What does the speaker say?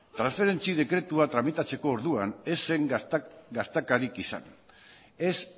transferentzi dekretua tramitatzeko orduan ez zen gatazkarik izan ez